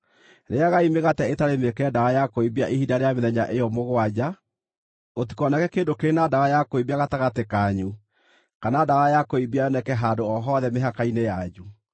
Rĩĩagai mĩgate ĩtarĩ mĩĩkĩre ndawa ya kũimbia ihinda rĩa mĩthenya ĩyo mũgwanja; gũtikoneke kĩndũ kĩrĩ na ndawa ya kũimbia gatagatĩ kanyu, kana ndawa ya kũimbia yoneke handũ o hothe mĩhaka-inĩ yanyu.